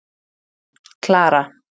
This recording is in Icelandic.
Klara